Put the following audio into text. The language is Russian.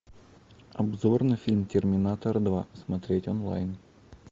обзор на фильм терминатор два смотреть онлайн